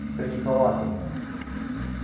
при николае по-моему